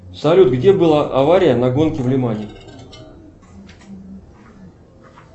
салют где была авария на гонке в лимане